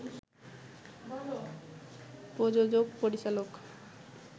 প্রযোজক, পরিচালক